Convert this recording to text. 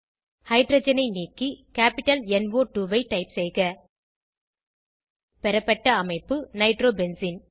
ஹைட்ரஜனை நீக்கி capital N O 2 ஐ டைப் செய்க பெறப்பட்ட அமைப்பு நைட்ரோபென்சீன்